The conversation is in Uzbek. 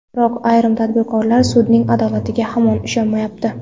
Biroq ayrim tadbirkorlar sudning adolatiga hamon ishonmayapti.